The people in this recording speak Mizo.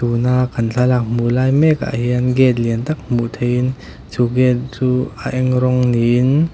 tuna kan thlalak hmuh lai mek ah hian gate lian tak hmuh theihin chu gate chu a eng rawng niin.